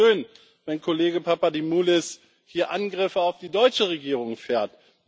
Es ist ja schön, wenn Kollege Papadimoulis hier Angriffe auf die deutsche Regierung fährt.